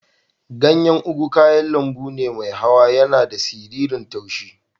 Ganyan ugu kayan lambu ne mai hawa. Yana da siririn tushi.